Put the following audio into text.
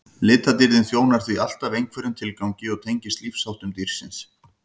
litadýrðin þjónar því alltaf einhverjum tilgangi og tengist lífsháttum dýrsins